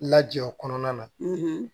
Lajɔ o kɔnɔna na